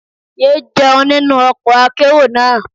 Yé jẹun nínú ọkọ̀ akérò náà.